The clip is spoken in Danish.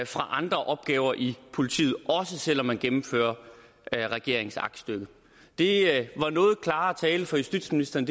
fra andre opgaver i politiet også selv om man gennemfører regeringens aktstykke det var noget klarere tale fra justitsministeren